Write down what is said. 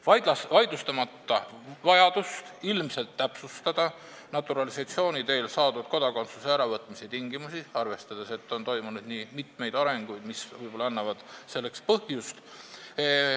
Ma ei vaidlusta vajadust ilmselt täpsustada naturalisatsiooni teel saadud kodakondsuse äravõtmise tingimusi, arvestades, et on toimunud mitmeid arenguid, mis võib-olla annavad selleks põhjust.